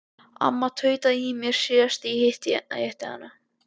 Amma tautaði í mér síðast þegar ég hitti hana.